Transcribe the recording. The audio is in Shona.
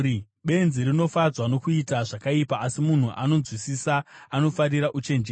Benzi rinofadzwa nokuita zvakaipa, asi munhu anonzwisisa anofarira uchenjeri.